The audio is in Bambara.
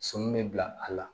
Sɔɔni bɛ bila a la